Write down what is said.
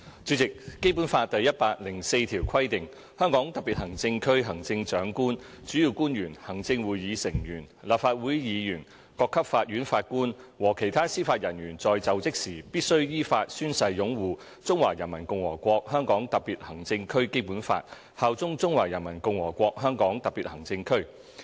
主席，《基本法》第一百零四條規定︰"香港特別行政區行政長官、主要官員、行政會議成員、立法會議員、各級法院法官和其他司法人員在就職時必須依法宣誓擁護中華人民共和國香港特別行政區基本法，效忠中華人民共和國香港特別行政區。